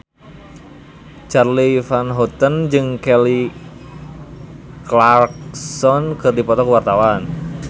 Charly Van Houten jeung Kelly Clarkson keur dipoto ku wartawan